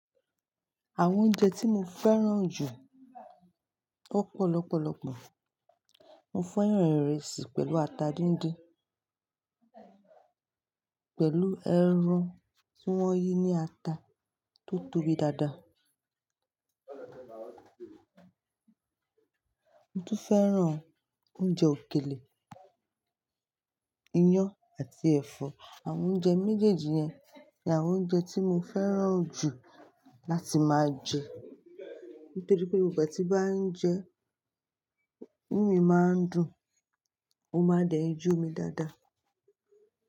Àwọn oúnjẹ tí mo fẹ́ràn jù ó pọ̀ lọpọlọpọ, mo fẹ́ràn ìrẹsì pẹ̀lú ata díndín, pẹ̀lú ẹran tí wọ́n yí ní ata tó tóbi dáadáa, mo tún fẹ́ràn oúnjẹ òkèlè, iyán àti ẹ̀fọ́. Àwọn oúnjẹ méjèèjì yẹn ni àwọn oúnjẹ tí mo fẹ́ràn jù láti máa jẹ nítorí pé igbà tí bá ń jẹ ẹ́, inú mi máa ń dùn, mo máa dẹ̀ n yomi dáadáa.